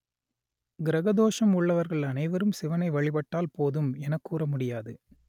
கிரக தோஷம் உள்ளவர்கள் அனைவரும் சிவனை வழிபட்டால் போதும் என்று கூற முடியாது